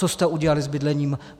Co jste udělali s bydlením?